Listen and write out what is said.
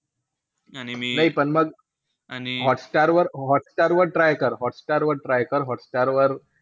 नाई पण मग हॉटस्टारवर हॉटस्टारवर try कर. हॉटस्टारवर,